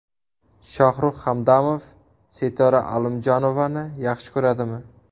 Shohrux Hamdamov Sitora Alimjonovani yaxshi ko‘radimi?